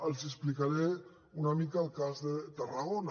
els explicaré una mica el cas de tarragona